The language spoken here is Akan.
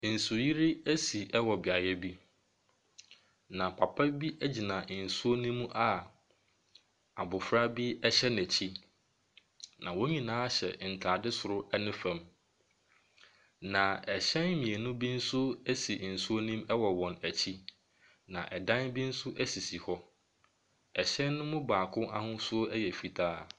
Nsuyiri asi wɔ beaeɛ bi, na papa bi gyina nsuo no mu a abɔfra bi hyɛ n'akyi, na wɔn nyinaa hyɛ ntade soro ne fam, na hyɛn mmienu bi nso si nsuo nom wɔ wɔn akyi, na dan bi nso sisi hɔ. Hyɛn no mu baako ahosuo yɛ fitaa.